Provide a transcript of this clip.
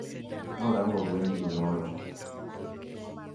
Norango gwen ge nyoro